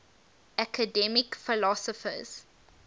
academic philosophers